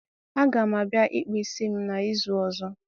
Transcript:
a ga m abia ikpu isi m n'izu ozo.